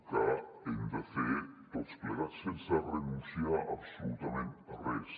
ho hem de fer tots ple·gats sense renunciar absolutament a res